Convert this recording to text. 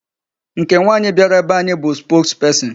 Nke nwaanyị bịara be anyị bụ spokesperson.